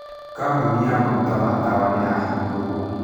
Kambuni ya maguta ma tawa nĩ yahingirũo.